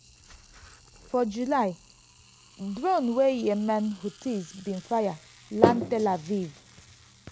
for july drone wey yemen houthis bin fire land tel aviv.